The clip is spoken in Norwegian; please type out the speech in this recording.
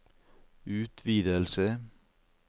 utvidelse